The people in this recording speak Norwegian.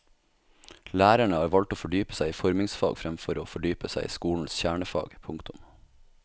Lærerne har valgt å fordype seg i formingsfag fremfor å fordype seg i skolens kjernefag. punktum